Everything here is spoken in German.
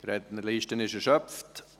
Die Rednerliste ist erschöpft.